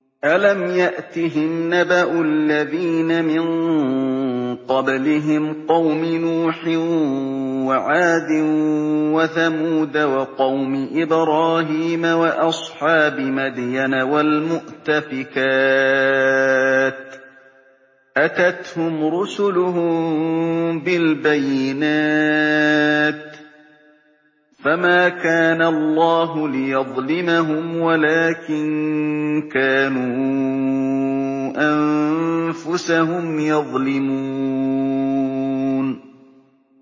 أَلَمْ يَأْتِهِمْ نَبَأُ الَّذِينَ مِن قَبْلِهِمْ قَوْمِ نُوحٍ وَعَادٍ وَثَمُودَ وَقَوْمِ إِبْرَاهِيمَ وَأَصْحَابِ مَدْيَنَ وَالْمُؤْتَفِكَاتِ ۚ أَتَتْهُمْ رُسُلُهُم بِالْبَيِّنَاتِ ۖ فَمَا كَانَ اللَّهُ لِيَظْلِمَهُمْ وَلَٰكِن كَانُوا أَنفُسَهُمْ يَظْلِمُونَ